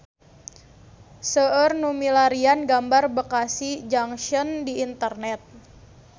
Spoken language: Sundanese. Seueur nu milarian gambar Bekasi Junction di internet